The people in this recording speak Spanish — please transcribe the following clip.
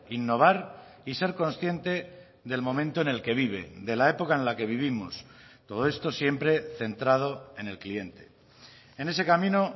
innovar y ser consciente del momento en el que vive de la época en la que vivimos todo esto siempre centrado en el cliente en ese camino